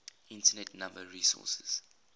internet number resources